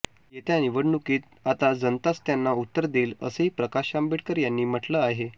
येत्या निवडणुकीत आता जनताच त्यांना उत्तर देईल असंही प्रकाश आंबेडकर यांनी म्हटलं आहे